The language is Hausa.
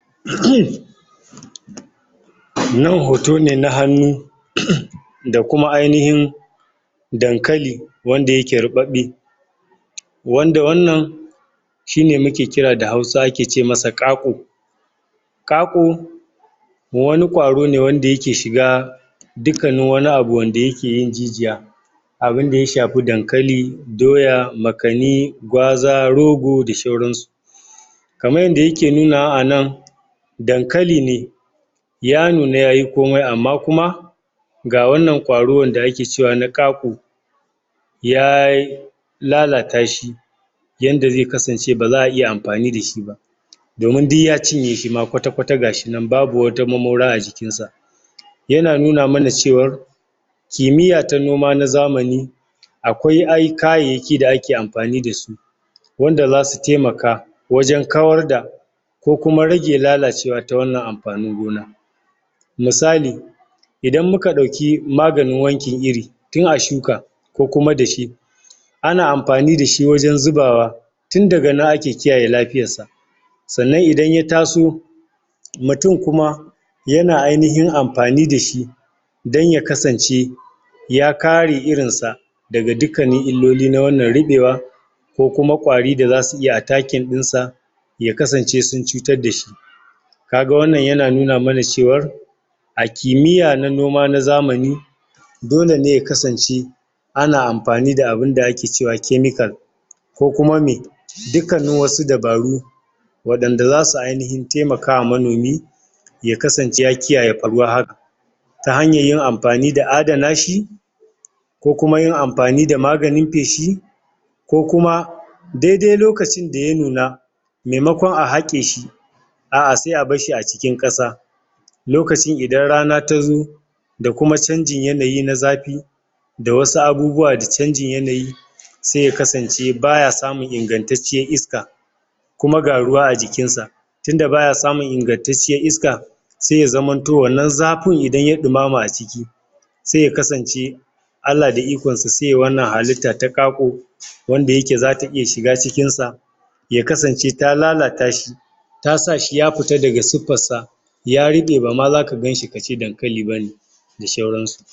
nan hoto ne na hannu da kuma ainahin dankali wanda yake ruɓaɓɓe wanda wannan shine muke kira da hausa wanda ake ce masa ƙaƙu ƙaƙu wani ƙwarone wanda yake shiga dukkannin wani abun wanda yakeyin jijiya abunda ya shafi dankali doya makani gwaza rogo da shauransu kaman yanda yake nunawa anan dankali ne ya nuna yayi komai amma kuma ga wannan ƙwaro wanda ake cewa na ƙaƙu ya lalata shi yanda zai kasance baza ayi amfani dashi ba domin du ya cinyeshi ma ƙwata ƙwata gashinan babu wata mamora a jikinsa yana nuna mana cewar kimiyya ta noma na zamani aƙwai kayayyaki da ake amfani dasu wanda zasu taimaka wajan kawar da ko kuma rage wannan lalacewa ta amfanin gona misali idan muka ɗauki maganin wankin iri tun a shuka ko kuma dashe ana amfani dashi wajan zubawa tun daga nan ake kiyaye lafiyarsa sannan idan ya taso mutun kuma yana ainahin amfani dashi dan ya kasance ya kare irinsa daga dukkanin illoli na wannan ruɓewa ko kuma ƙwari da zasu iya atakin dinsa ya kasance sun cutar dashi kaga wannan yana nuna mana cewar a kimiyya na noma na zamani dole ne ya kasance ana amfani da abinda ake kice chemical ni ko kuma me duk kanin wasu dabaru waɗanda zasu ainahin taimakawa manomi ya kasance ya kiyaye faruwar hakan ta hanyar yin amfani da adana shi ko kuma yin amfani da maganin feshi ko kuma daidai lokacin da ya nuna maimaƙon a haƙeshi a'a sai a basshi a cikin ƙasa lokacin idan rana tazo da kuma canjin yanayi na zafi da wasu abubuwa da canjin yanayi sai ya kasance baya samun ingantatciyar iska kuma ga ruwa a jikinsa tunda baya samun ingantatciyar iska sai ya zamanto wannan zafin idan ya ɗumama a ciki sai ya kasance Allah da ikonsa sai yayi wannan halitta ta ƙaƙu wanda yake zata iya shiga cikinsa ya kasance ta lalata shi tasashi ya fita daga siffarsa ya ruɓe bama zaka ganshi kace dankali bane da shauransu